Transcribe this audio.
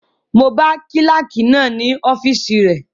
Mo bá kílàkì náà ní ọ́fìsì rẹ